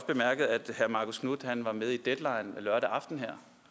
bemærket at herre marcus knuth var med i deadline lørdag aften